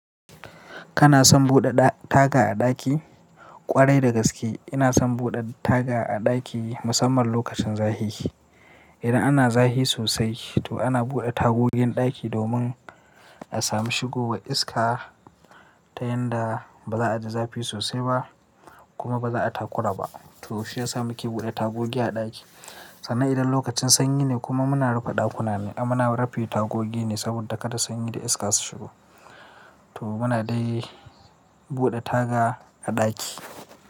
Kana son buɗe taga a ɗaki? Ƙwarai da gaske ina son buɗe taga a ɗaki musamman lokacin zafi. Idan ana zafi sosai to ana buɗe tagogin ɗaki domin a sami shigo wa iska ta yanda ba za a ji zafi sosai ba kuma ba za a yi takura ba. To shi ya sa muke buɗe tagogi a ɗaki. Sannan idan lokacin sanyi ne kuma muna rufe ɗakuna ne amma na rufe tagogi ne saboda kada sanyi da iska su shigo. To muna dai buɗe taga a ɗaki.